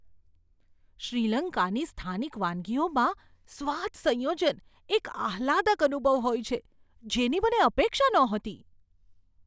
શ્રીલંકાની સ્થાનિક વાનગીઓમાં સ્વાદ સંયોજન એક આહલાદક અનુભવ હોય છે, જેની મને અપેક્ષા નહોતી.